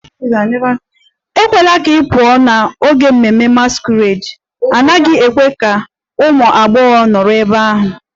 Ekwela ka ị pụọ n'oge ememme masquerade! A naghị ekwe ka ụmụ agbọghọ nọrọ ebe ahụ.